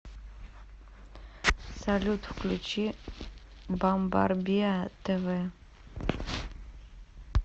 салют включи бамбарбиа тэ вэ